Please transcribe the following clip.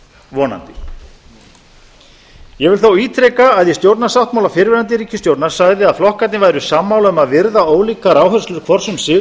vonandi ég vil þó ítreka að í stjórnarsáttmála fyrrverandi ríkisstjórnar sagði að flokkarnir væru sammála um að virða ólíkar áherslur hvors um sig